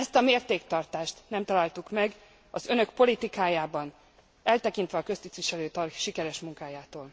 Ezt a mértéktartást nem találtuk meg az önök politikájában, eltekintve a köztisztviselői kar sikeres munkájától!